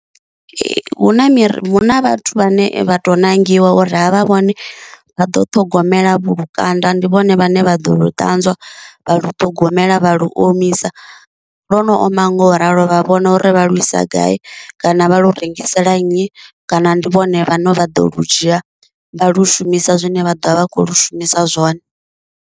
Hu na miri huna vhathu vhane vha to ṋangiwa uri avha vhone vha ḓo ṱhogomela vhu lukanda ndi vhone vhane vha ḓo lu ṱanzwa vha lu ṱhogomela vha lu omisa, lwo no oma ngo ralo vha vhona uri vha lu isa gai kana vha lu rengisela nnyi kana ndi vhone vhane vha ḓo lu dzhia vha lu shumisa zwine vha ḓovha vha kho lu shumisa zwone.